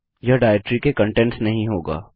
यह डाइरेक्टरी के कंटेंट्स नहीं होगा